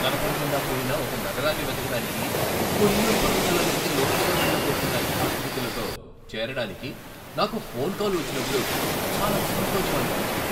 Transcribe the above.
కనబడకుండాపోయిన ఒక నగరాన్ని వెతకడానికి కున్ లున్ పర్వతాలలోకి లోతుగా వెళ్లబోతున్న యాత్రికులతో చేరడానికి నాకు ఫోన్ కాల్ వచ్చినప్పుడు చాలా సంతోషం అనిపించింది.